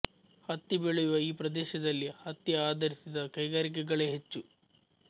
ಹತ್ತಿ ಬೆಳೆಯುವ ಈ ಪ್ರದೇಶದಲ್ಲಿ ಹತ್ತಿ ಆಧರಿಸಿದ ಕೈಗಾರಿಕೆಗಳೇ ಹೆಚ್ಚು